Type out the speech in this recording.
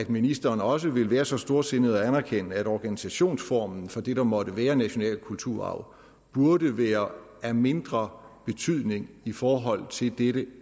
ministeren også vil være så storsindet at anerkende at organisationsformen for det der måtte være national kulturarv burde være af mindre betydning i forhold til dette